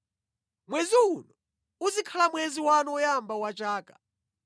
“Mwezi uno uzikhala mwezi wanu woyamba wa chaka.